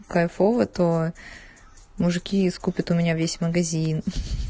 кайфово тоо мужики скупят у меня весь магазин